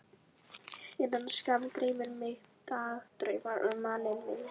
Innan skamms dreymir mig dagdrauma um manninn minn.